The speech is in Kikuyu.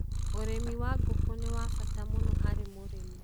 Ũrĩmi wa ngũkũ nĩ wa bata mũno harĩ mũrĩmi.